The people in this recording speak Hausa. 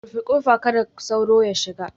Rufe kofa, don kada sauro ya shiga